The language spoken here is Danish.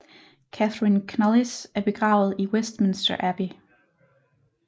Katherine Knollys er begravet i Westminster Abbey